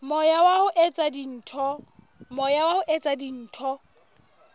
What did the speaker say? moya wa ho etsa dintho